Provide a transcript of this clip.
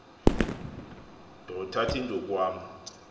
ndothath indukw am